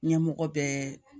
Ɲɛmɔgɔ bɛɛ